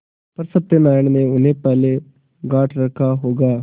पर सत्यनारायण ने उन्हें पहले गॉँठ रखा होगा